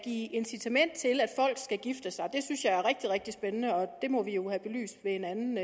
give incitament til at folk skal gifte sig det synes jeg er rigtig rigtig spændende og det må vi jo have belyst ved en anden